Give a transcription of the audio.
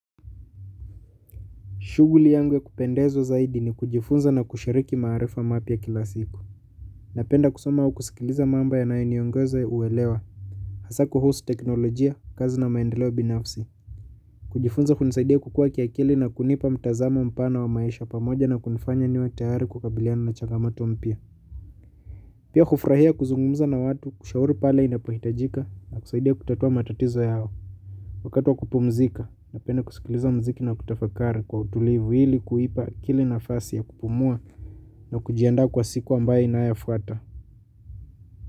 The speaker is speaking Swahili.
Shuguli yangu ya kupendezwa zaidi ni kujifunza na kushiriki maarifa mapya kila siku. Napenda kusoma au kusikiliza mambo ya nayo niongoza uwelewa. Hasa kuhusu teknolojia, kazi na maendeleo binafsi. Kujifunza kunisaidia kukua kiakili na kunipa mtazamo mpana wa maisha pamoja na kunifanya niwa tayari kukabiliana na changamoto mpia. Pia kufurahia kuzungumza na watu, kushauri pale inapohitajika na kusaidia kutatua matatizo yao. Wakati wa kupumzika, napenda kusikiliza mziki na kutafakari kwa utulivu ili kuipa akili nafasi ya kupumua na kujianda kwa siku ambaye inayofuata.